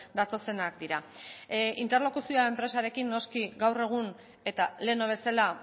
datozenak dira interlokuzioa enpresarekin noski gaur egun eta lehen bezala